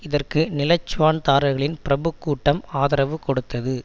இதற்கு நிலச்சுவான்தார்களின் பிரபுக் கூட்டம் ஆதரவு கொடுத்தது